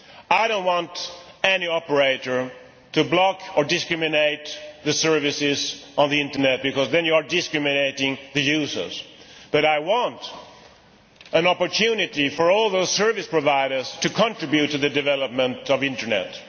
I do not want any operator to block or discriminate against services on the Internet because then you are discriminating against the users, but I do want an opportunity for all those service providers to contribute to the development of the Internet.